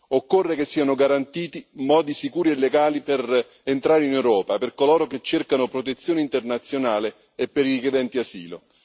Occorre che siano garantiti modi sicuri e legali per entrare in Europa per coloro che cercano protezione internazionale e per i richiedenti asilo.